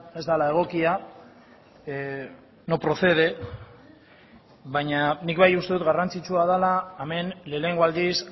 ez dela egokia no procede baina nik bai uste dut garrantzitsua dela hemen lehenengo aldiz